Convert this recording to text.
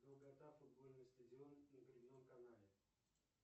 долгота футбольный стадион на гребном канале